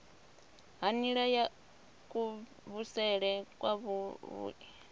ha nila ya kuvhusele kwavhui